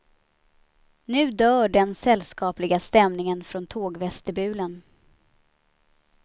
Nu dör den sällskapliga stämningen från tågvestibulen.